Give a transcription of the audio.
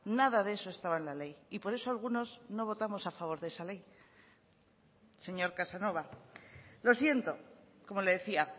nada de eso estaba en la ley y por eso algunos no votamos a favor de esa ley señor casanova lo siento como le decía